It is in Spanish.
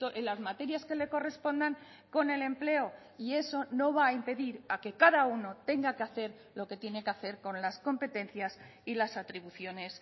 en las materias que le correspondan con el empleo y eso no va a impedir a que cada uno tenga que hacer lo que tiene que hacer con las competencias y las atribuciones